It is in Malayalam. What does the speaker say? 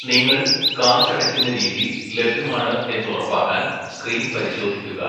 നിങ്ങൾ കാശടക്കുന്ന രീതി ലഭ്യമാണ് എന്നുറപ്പാക്കാൻ സ്ക്രീൻ പരിശോധിക്കുക.